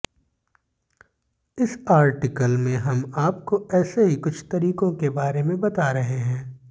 इस आर्टिकल में हम आपको ऐसे ही कुछ तरीकों के बारे में बता रहे हैं